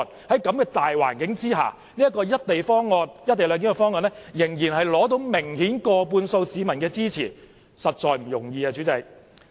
在這個大環境下，"一地兩檢"方案仍取得明顯過半數市民的支持，實在不容易。